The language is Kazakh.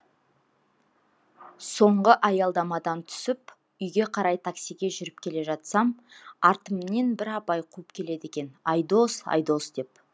соңғы аялдамадан түсіп үйге қарай таксиге жүріп келе жатсам артымнен бір апай қуып келеді екен айдос айдос деп